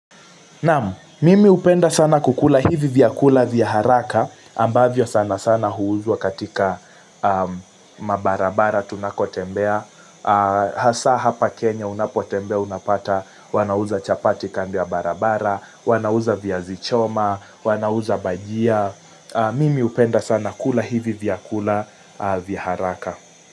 Naan, mimi hupenda sana kukula hivi vya kula vya haraka, ambavyo sana sana huuzwa katika mabarabara tunakotembea, Hasa hapa Kenya unapotembea unapata, wanauza chapati kando ya barabara, wanauza viazi choma, wanauza bajia, mimi hupenda sana kukula hivi vya kula vya haraka.